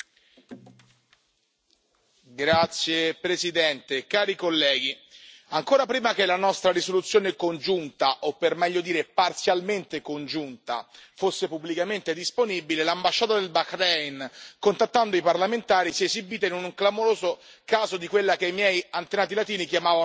Signor Presidente, onorevoli colleghi, ancora prima che la nostra risoluzione comune, o per meglio dire parzialmente comune, fosse pubblicamente disponibile, l'ambasciatore del Bahrein, contattando i parlamentari, si è esibito in un clamoroso caso di quella che i miei antenati latini chiamavano